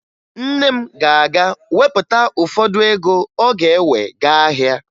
Nne m ga-aga wepụta ụfọdụ ego ọ ga-ewe gaa ahịa